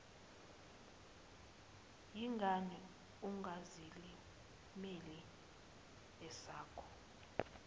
yingani ungazilimeli esakho